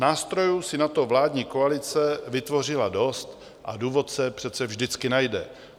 Nástrojů si na to vládní koalice vytvořila dost a důvod se přece vždycky najde.